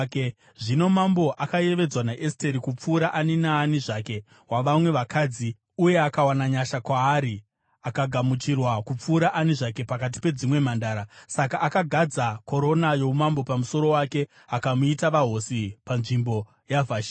Zvino mambo akayevedzwa naEsteri kupfuura ani naani zvake wavamwe vakadzi, uye akawana nyasha kwaari akagamuchirwa kupfuura ani zvake pakati pedzimwe mhandara. Saka akagadza korona youmambo pamusoro wake akamuita vahosi panzvimbo yaVhashiti.